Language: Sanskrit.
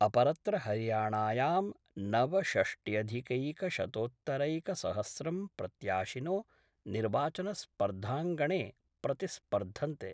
अपरत्र हरियाणायां नवषष्ट्यधिकैकशतोत्तरैकसहस्रं प्रत्याशिनो निर्वाचनस्पर्धांगणे प्रतिस्पर्धन्ते।